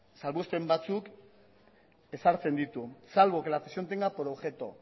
salbuespen batzuk ezartzen ditu salvo que la cesión tenga por objeto